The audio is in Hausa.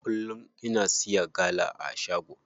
Kullum ina siya gala a shago.